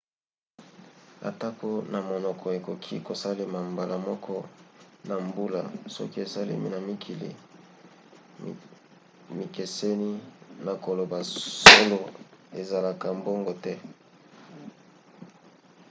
atako na munoko ekoki kosalema mbala moko na mbula soki esalemi na mikili mikeseni na koloba solo esalemaka bongo te